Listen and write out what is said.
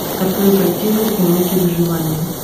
открой картину уроки выживания